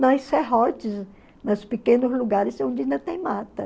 Nas serrotes, nos pequenos lugares onde ainda tem mata.